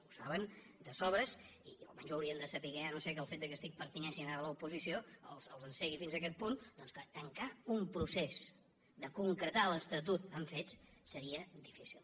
ho saben de sobres o almenys ho haurien de saber si no és que el fet que pertanyin ara a l’oposició els encegui fins a aquest punt doncs que tancar un procés de concretar l’estatut amb fets seria difícil